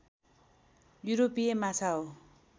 युरोपीय माछा हो